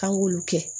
K'an k'olu kɛ